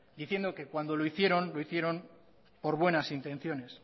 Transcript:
diciendo que cuando lo hicieron lo hicieron por buenas intenciones